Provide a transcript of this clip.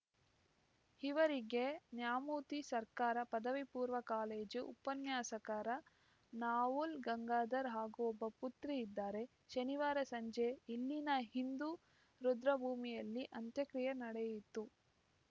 ಇವರಿಗೆ ನ್ಯಾಮುತಿ ಸರ್ಕಾರ ಪದವಿ ಪೂರ್ಣ ಕಾಲೇಜು ಉಪನ್ಯಾಸಕರ ನವುಲೆ ಗಂಗಾಧರ್‌ ಹಾಗೂ ಒಬ್ಬ ಪುತ್ರಿ ಇದ್ದಾರೆ ಶನಿವಾರ ಸಂಜೆ ಇಲ್ಲಿನ ಹಿಂದೂ ರುದ್ರಭೂಮಿಯಲ್ಲಿ ಅಂತ್ಯಕ್ರಿಯೆ ನಡೆಯಿತು